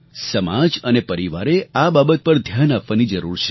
સમાજ અને પરિવારે આ બાબત પર ધ્યાન આપવાની જરૂર છે